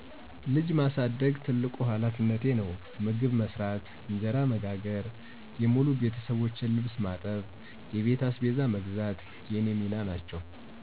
ልጅ ማሳደግ ትልቁ ሀላፊነቴ ነው። መግብ መስራት፣ እንጀራ መጋገር፣ የሙሉ ቤተሠቦቼን ልብስ ማጠብ፣ የቤት አስቤዛ መግዛት የኔ ሚና ናቸው።